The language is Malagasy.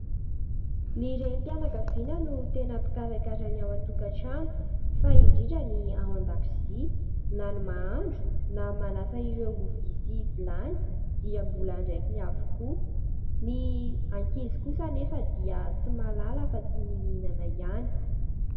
Ny renim-pianakaviana no tena mpikarakara ny ao an-tokantrano, fa indrindra ny ao an-dakozia, na ny mahandro, na ny manasa ireo vilia sy vilany, dia mbola andraikiny avokoa, ny ankizy kosa anefa dia tsy mahalala afa-tsy ny mihinana ihany.